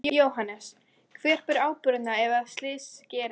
Jóhannes: Hver ber ábyrgðina ef að slys gerist?